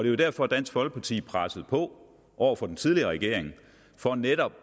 er derfor dansk folkeparti har presset på over for den tidligere regering for netop